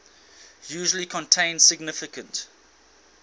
usually contain significant